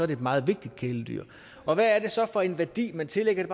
det et meget vigtigt kæledyr og hvad er det så for en værdi man tillægger det